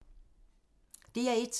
DR1